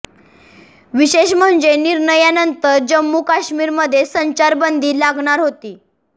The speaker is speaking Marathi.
विशेष म्हणजे निर्णयानंतर जम्मू काश्मीरमध्ये संचार बंदी लागणार होती